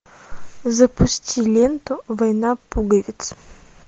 запусти ленту война пуговиц